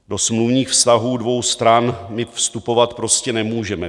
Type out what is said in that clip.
Do smluvních vztahů dvou stran my vstupovat prostě nemůžeme.